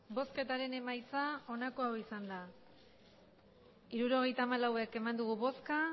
hirurogeita hamalau eman dugu bozka